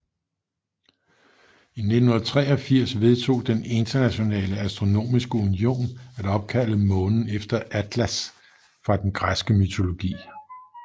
I 1983 vedtog den Internationale Astronomiske Union at opkalde månen efter Atlas fra den græske mytologi